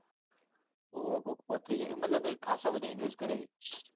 હોવ કોક પોત્રીસ મતલબ ખાસા બધા કર્યા હી